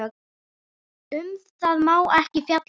Um það má ekki fjalla.